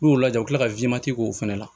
N'o lajɛ u bɛ tila ka k'o fana la